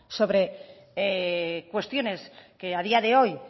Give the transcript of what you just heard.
sobre cuestiones que a día de hoy